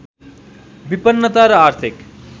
विपन्नता र आर्थिक